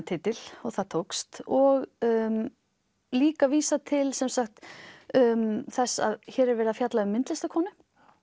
titil og það tókst líka vísar til þess að hér er verið að fjalla um myndlistarkonu